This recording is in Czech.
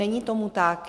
Není tomu tak.